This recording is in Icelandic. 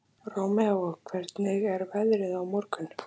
Rómeó, hvernig er veðrið á morgun?